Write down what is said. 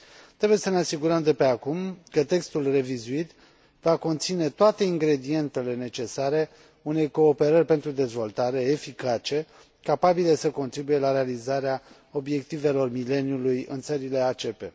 Trebuie să ne asigurăm de pe acum că textul revizuit va conține toate ingredientele necesare unei cooperări pentru dezvoltare eficace, capabilă să contribuie la realizarea Obiectivelor Mileniului în țările ACP.